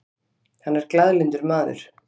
Hann er glaðlyndur maður.